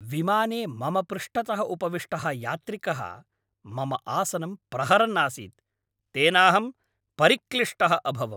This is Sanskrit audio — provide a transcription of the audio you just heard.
विमाने मम पृष्ठतः उपविष्टः यात्रिकः मम आसनं प्रहरन् आसीत्, तेनाहं परिक्लिष्टः अभवम्।